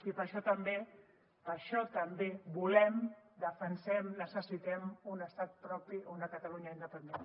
i per això també per això també volem defensem necessitem un estat propi una catalunya independent